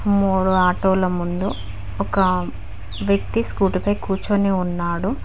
మూడు ఆటోల ముందు ఒక వ్యక్తి స్కూటీ పై కూర్చొని ఉన్నాడు.